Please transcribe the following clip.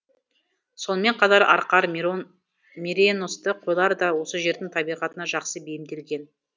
сонымен қатар арқар миреносты қойлар да осы жердің табиғатына жақсы бейімделген